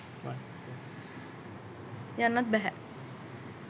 යන්නත් බැහැ.